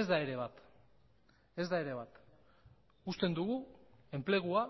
ez da ere bat ez da ere bat usten dugu enplegua